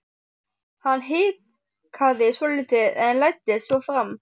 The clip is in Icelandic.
Hann hikaði svolítið en læddist svo fram.